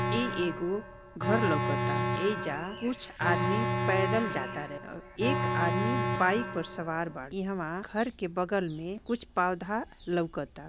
इ एगो घर लउकता एजा कुछ आदमी पैदल जाता रहे और एक आदमी बाइक पर सवार बा एहवां घर के बगल में कुछ पौधा लउकता।